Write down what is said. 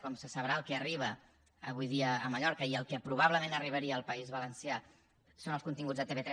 com se sabrà el que arriba avui dia a mallorca i el que probablement arribaria al país valencià són els continguts de tv3